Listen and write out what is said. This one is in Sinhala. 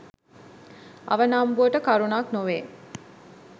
අවනම්බුවට කරුණක් නොවේ.